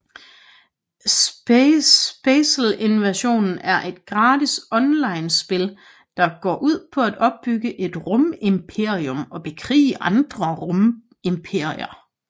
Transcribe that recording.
SpaceInvasion er et gratis onlinespil der går ud på at opbygge et rumimperium og bekrige andre rumimperier